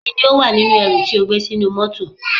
Kí ni ó wà nínú ẹrù tí ó gbé sínú mọ́tọ̀.